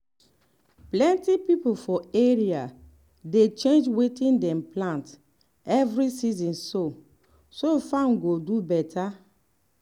plenty people for area dey change wetin dem plant every season so so farm go do better.